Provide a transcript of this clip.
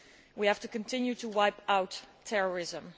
We have to continue to wipe out terrorism.